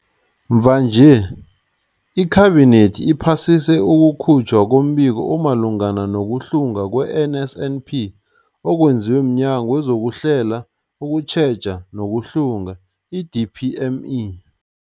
Mvanje, iKhabinethi iphasise ukukhutjhwa kombiko omalungana nokuhlungwa kwe-NSNP okwenziwe mNyango wezokuHlela, ukuTjheja nokuHlunga, i-DPME.